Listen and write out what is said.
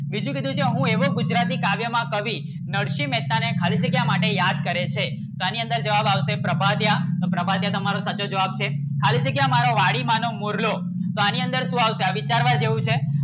બીજું કીધું છું હું એવો ગુજરાતી કાવ્ય માં કવિ નરસિંહ મેહતા ને ખાલી જગ્યા માટે યાદ કરે છે શા ની અંદર જવાબ આવશે પ્રભાતિયા પ્રભાતિયા તમારો સાચો જવાબ છે ખાલી જગ્યા મારો વાડી માં નો મોરલો શા ની અંદર આવશે આ વિચારવા જેવું છે